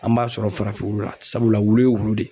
An b'a sɔrɔ farafin wulu la sabula wulu ye wulu de.